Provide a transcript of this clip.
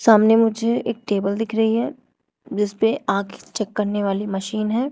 सामने मुझे एक टेबल दिख रही है जिसपे आंखे चेक करने वाली मशीन है।